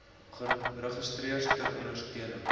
registers ter ondersteuning